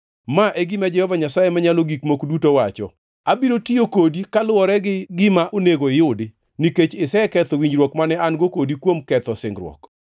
“ ‘Ma e gima Jehova Nyasaye Manyalo Gik Moko Duto wacho: Abiro tiyo kodi kaluwore gi gima onego iyudi, nikech iseketho winjruok mane an-go kodi kuom ketho singruok.